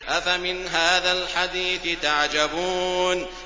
أَفَمِنْ هَٰذَا الْحَدِيثِ تَعْجَبُونَ